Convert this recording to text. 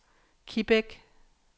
Kibæk